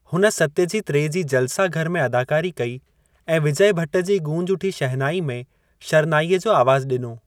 हुन सत्यजीत रे जी जलसाघर में अदाकारी कई ऐं विजय भट्ट जी गूंज उठी शहनाई में शरनाईअ जो आवाज़ ॾिनो।